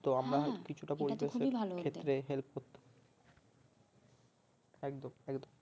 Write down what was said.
ক্ষেত্রে help করতে পারি একদম একদম